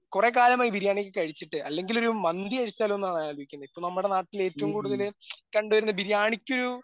കുറേക്കാലമായി ബിരിയാണി ഒക്കെ കഴിച്ചിട്ട് അല്ലെങ്കിലൊരു മന്തി കഴിച്ചാലോന്നാണ് ഞാൻ ആലോചിക്കുന്നെ ഇപ്പോ നമ്മുടെ നാട്ടിൽ ഏറ്റവും കൂടുതൽ കണ്ടുവരുന്നത് ബിരിയാണിക്കൊരു